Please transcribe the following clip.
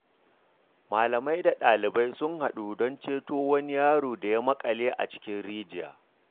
Malamai da dalibai sun haɗu don ceto wani yaro da ya makale a cikin rijiya.